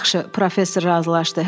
Yaxşı, professor razılaşdı.